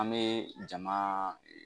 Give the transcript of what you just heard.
An bɛ jama